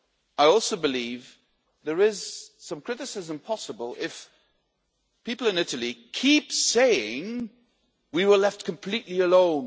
I also believe there is some criticism possible if people in Italy keep saying we were left completely alone